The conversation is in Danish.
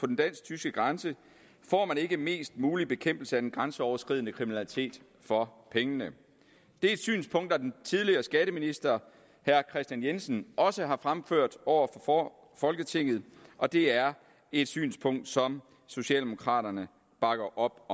den dansk tyske grænse får man ikke mest mulig bekæmpelse af den grænseoverskridende kriminalitet for pengene det er et synspunkt som den tidligere skatteminister herre kristian jensen også har fremført over for folketinget og det er et synspunkt som socialdemokraterne bakker op